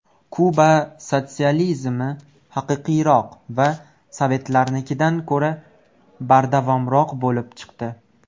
Kuba sotsializmi haqiqiyroq va sovetlarnikidan ko‘ra bardavomroq bo‘lib chiqdi.